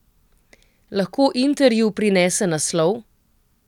Lahko Interju prinese naslov?